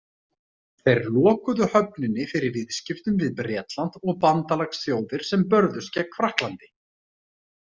Þeir lokuðu höfninni fyrir viðskiptum við Bretland og bandalagsþjóðir sem börðust gegn Frakklandi.